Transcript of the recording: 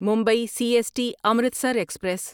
Mumbai C S T Amritsar express